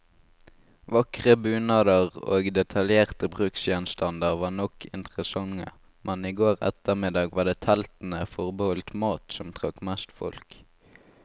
Vakre bunader og detaljerte bruksgjenstander var nok interessante, men i går ettermiddag var det teltene forbeholdt mat, som trakk mest folk.